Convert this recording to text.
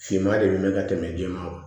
Finman de bɛ mɛn ka tɛmɛ den ma